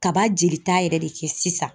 Kaba jelita yɛrɛ de kɛ sisan